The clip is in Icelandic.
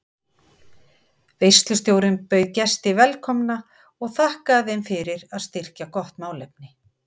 Veislustjórinn bauð gesti velkomna og þakkaði þeim fyrir að styrkja gott málefni.